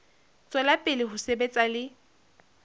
tswela pele ho sebetsa le